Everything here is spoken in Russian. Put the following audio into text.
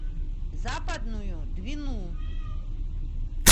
западную двину